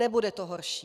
Nebude to horší.